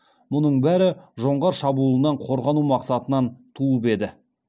мұның бәрі жоңғар шабуылынан қорғану мақсатынан туып еді